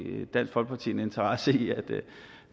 en interesse i